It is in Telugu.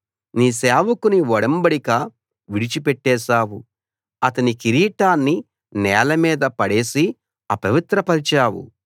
నీ సేవకుని ఒడంబడిక విడిచిపెట్టేశావు అతని కిరీటాన్ని నేల మీద పడేసి అపవిత్రపరచావు